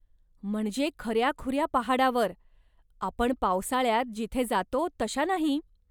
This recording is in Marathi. म्हणजे खऱ्याखुऱ्या पहाडावर, आपण पावसाळ्यात जिथे जातो तशा नाही?